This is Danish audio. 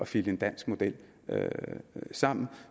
flikke en dansk model sammen